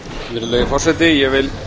virðulegi forseti ég vil